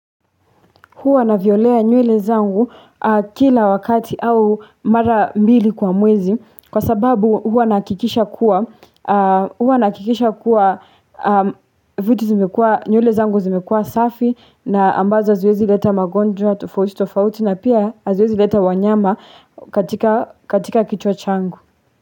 Huu navyolea nywele zangu kila wakati au mara mbili kwa mwezi Kwa sababu hua nakikisha kuwa huwa nakikisha kuwa vitu zimekua nywele zangu zimekua safi na ambazo aziwezi leta magonjwa tofauti tofauti na pia aziezi leta wanyama katika kichwa changu.